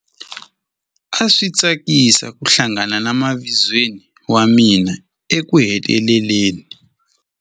A swi tsakisa ku hlangana na mavizweni wa mina ekuheteleleni.